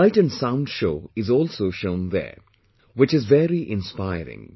A light and sound show is also shown there which is very inspiring